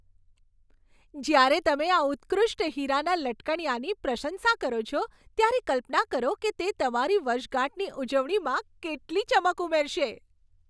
જ્યારે તમે આ ઉત્કૃષ્ટ હીરાના લટકણિયાની પ્રશંસા કરો છો, ત્યારે કલ્પના કરો કે તે તમારી વર્ષગાંઠની ઉજવણીમાં કેટલી ચમક ઉમેરશે.